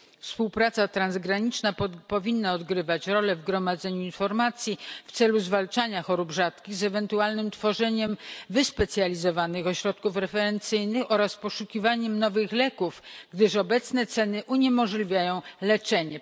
Współpraca transgraniczna powinna odgrywać rolę w gromadzeniu informacji w celu zwalczania chorób rzadkich, ewentualnym tworzeniu wyspecjalizowanych ośrodków referencyjnych oraz poszukiwaniu nowych leków, gdyż obecne ceny uniemożliwiają leczenie.